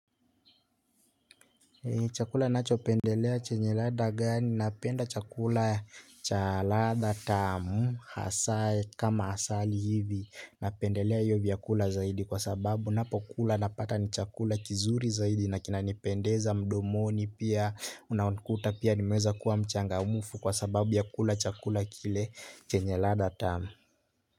Chakula ninachopendelea chenye ladha gani napenda chakula cha ladha tamu hasa kama asali hivi napendelea hiyo vyakula zaidi kwa sababu ninapokula napata ni chakula kizuri zaidi na kinanipendeza mdomoni pia unakuta pia nimeweza kuwa mchangamfu kwa sababu ya kula chakula kile chenye ladha tamu.